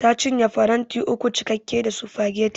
Ta cinye faranti uku cike da sufageti